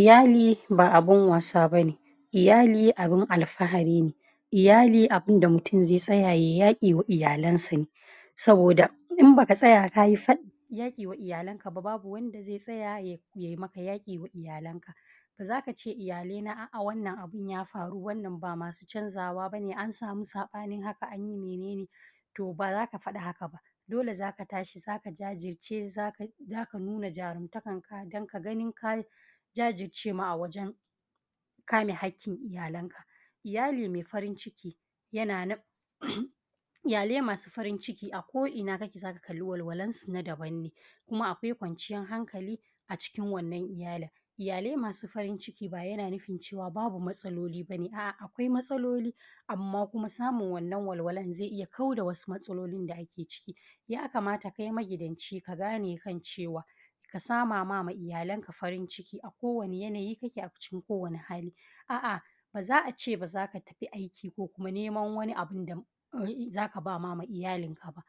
Iyali ba abun wasa ba ne, iyali abun alfahari ne, iyali da mutum zai tsaya yai yaƙi ma iyalansa ne saboda in ba ka tsaya ka yi yaƙi wa iyalanka ba abun wanda zai tsaya yai maka yaƙi wa iyalanka, za ka ce iyalaina a’a wannan abun ya faru, a’a ba ma su canjawa ba ne an samu saɓani haka an yi mene ne. To, ba za ka faɗi haka ba dole za ka tashi, za ka jajirce, za ka nuna jarumtakarka dan ka ganin ka jajirce a wajen kame haƙƙin iyalanka, iyali mai farinciki yana iyalai masu farinciki a ko’ina za ka ga walwalansu na daban ne, kuma akwai kwanciyan hankali a cikin wannan iyali, iyalai masu farinciki baya na nufin cewa babu matsaloli ba ne, a’a akwai matsaloli amma kuma samun wannan walwalan zai iya kauda wasu matsalolin da ake ciki, ya kamata kai magidanci ka gane kan cewa ka sama ma iyalanka farinciki a kowane yanayi kake a cikin ko wani hali a’a ba za a ce ba za ka fita aiki ba, ko kuma neman wani abun da za ka ba ma iyalinka ba,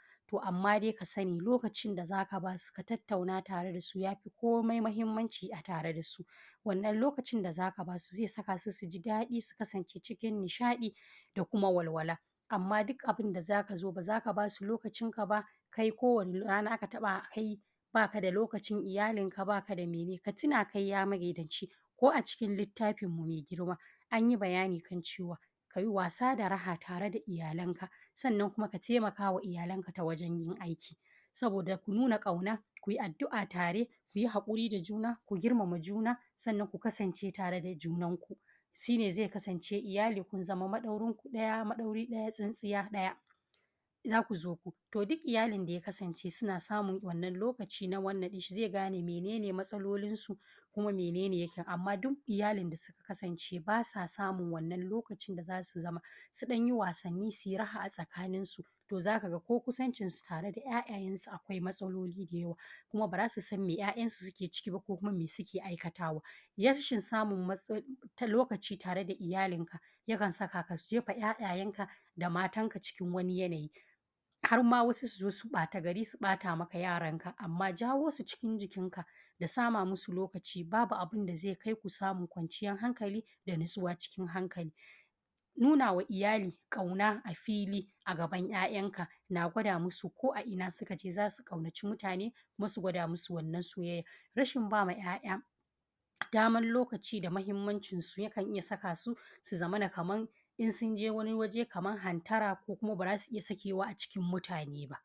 amma dai ka sani lokacin da za ka ba su ku tattauna da su ya fi komai mahimmanci a tare da su. Wannan lokacin da za ka ba su zai saka su su ji daɗi su kasance cikin nishaɗi da kuma walwala, amma duk abun da za ka zo ba za ka ba su lokacinka ba kai kowane rana ba ka da lokacin iyalinka ba, ka da mene ka tuna kai ya magidanci ko a cikin littafinmu mai girma an yi bayani kan cewa ka yi wasa da raha tare da iyalanka. Sannan kuma ka taimakawa iyalanka wajen yin aiki saboda nuna ƙauna, ku yi addu’a tare, ku yi haƙuri da juna sannan ku girmama juna, sannan ku kasance tare da junanku shi ne zai kasance iyali kun zama maɗaurin ku ɗaya, maɗauri ɗaya tsintsiya ɗaya za ku zamo. To, duk iyalin da ya kasance suna samun wannan lokaci na wannan zai gane mene ne matsalolinsu, mene ne ya fi amma duk iyalin da suka kasance ba sa samun wannan lokacin da za su zauna su ɗan yi wasanni, su yi raha tsakaninsu to za ka ga ko kusancinsu tare da ‘ya’yayansu akwai matsaloli da yawa kuma ba za su san me ‘ya’yansu suke ciki ba, ko kuma me suke aikatawa ba, rashin samun lokaci tare da iyali yakan saka ka jefa ‘ya’yayanka da matanka cikin wani yanayi har ma wasu ɓatagari su zo su ɓata maka yaranka, amma jawo su cikin jikinka da sama musu lokaci babu abun da zai kai ku samun kwanciyan hankali da natsuwa cikin hankali, nunawa iyali ƙauna a fili a gaban ‘ya’yanka na gwada musu ko’a’ina su ka je za su ƙaunaci mutane kuma su gwada musu wannan soyayan, rashin ba ma ‘ya’ya daman lokaci da mahimmanci yakan iya sa su, su zamana kaman in sun je wani waje kaman hantara ko kuma ba za su iya sakewa a cikin mutane ba.